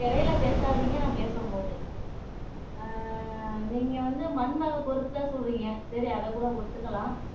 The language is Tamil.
இடையில பேசாதீங்க நான் பேசும்போது ஆஹ் நீங்க வந்து மண் வகை பொறுத்துதான் சொல்றீங்க சரி அதைக்கூட ஒத்துக்கலாம்